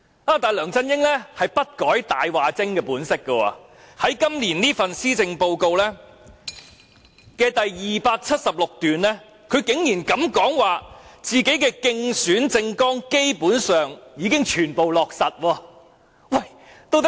然而，梁振英不改其"大話精"本色，在今年的施政報告第276段竟膽敢說自己競選政綱的承諾基本上已全部落實。